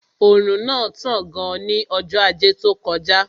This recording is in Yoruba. Òrùn náà tán gan ní ọjọ́ ajé tó kọjá